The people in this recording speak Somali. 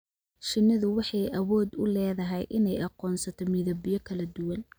Shinnidu waxay awood u leedahay inay aqoonsato midabyo kala duwan.